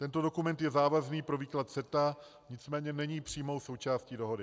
Tento dokument je závazný pro výklad CETA, nicméně není přímou součástí dohody.